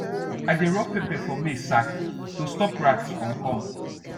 i dey rub pepper for maize sack to stop rat from come